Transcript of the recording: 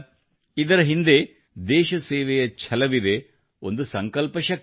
ಇದರ ಹಿಂದೆ ದೇಶಸೇವೆಯ ಛಲವಿದೆ ಮತ್ತು ಒಂದು ಸಂಕಲ್ಪಶಕ್ತಿಯಿದೆ